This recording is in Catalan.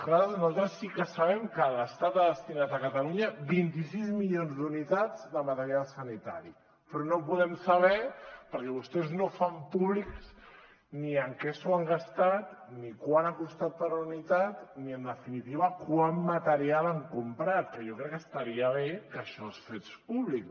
clar nosaltres sí que sabem que l’estat ha destinat a catalunya vint sis milions d’unitats de material sanitari però no podem saber perquè vostès no ho fan públic ni en què s’ho han gastat ni quant ha costat per unitat ni en definitiva quant material han comprat que jo crec que estaria bé que això es fes públic